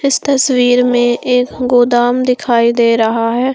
इस तस्वीर में एक गोदाम दिखाई दे रहा है।